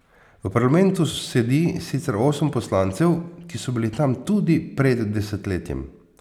V parlamentu sedi sicer osem poslancev, ki so bili tam tudi pred desetletjem.